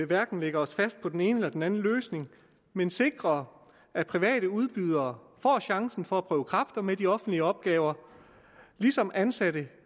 hverken at lægge os fast på den ene eller den anden løsning men sikre at private udbydere får chancen for at prøve kræfter med de offentlige opgaver ligesom ansatte